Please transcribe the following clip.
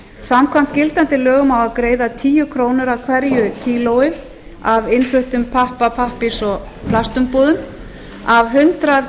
samkvæmt gildandi lögum á að greiða tíu krónur af hverju kíló af innfluttum pappa pappírs og plastumbúðum af hundrað